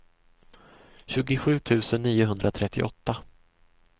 tjugosju tusen niohundratrettioåtta